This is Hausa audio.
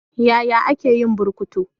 Yaya ake yin burkutu?